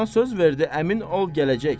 Bana söz verdi, əmin ol gələcək.